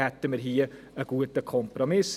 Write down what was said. Dann hätten wir hier einen guten Kompromiss.